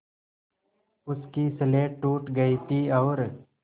उसकी स्लेट टूट गई थी और